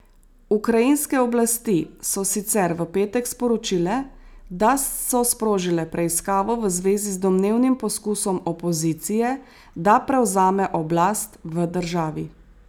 Ukrajinske oblasti so sicer v petek sporočile, da so sprožile preiskavo v zvezi z domnevnim poskusom opozicije, da prevzame oblast v državi.